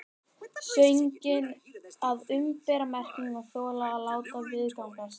Sögnin að umbera merkir að þola eða láta viðgangast.